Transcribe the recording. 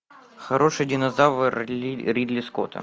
хороший динозавр ридли скотта